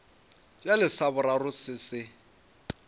bjale sa boraro se se